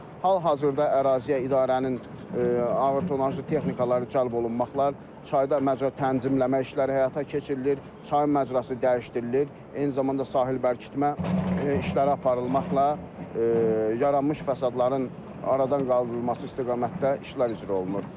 Hal-hazırda əraziyə idarənin ağır tonnajlı texnikaları cəlb olunmaqla çayda məcra tənzimləmə işləri həyata keçirilir, çayın məcrası dəyişdirilir, eyni zamanda sahil bərkitmə işləri aparılmaqla yaranmış fəsadların aradan qaldırılması istiqamətdə işlər icra olunur.